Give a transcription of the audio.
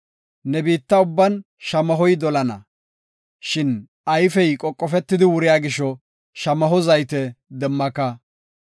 Ne biitta ubban shamahoy dolana, shin ayfey qoqofetidi wuriya gisho, shamaho zayte demmaka.